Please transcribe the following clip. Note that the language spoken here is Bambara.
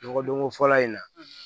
Nɔgɔdonko fɔlɔ in na